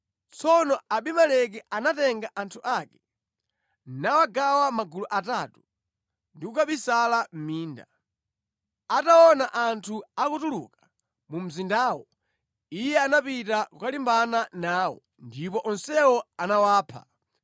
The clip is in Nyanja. Tsono Abimeleki anatenga anthu ake, nawagawa magulu atatu ndi kukabisala mʼminda. Ataona anthu akutuluka mu mzindawo, iye anapita kukalimbana nawo ndipo onsewo anawapha.